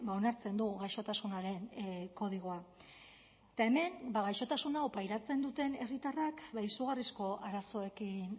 onartzen du gaixotasunaren kodigoa eta hemen gaixotasun hau pairatzen duten herritarrak izugarrizko arazoekin